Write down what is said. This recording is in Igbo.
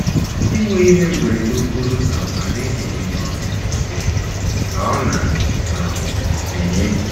Inwe ihe mberede okporo ụzọ adịghị enye ọṅụ n’ezie, ka ọ̀ na - um enye?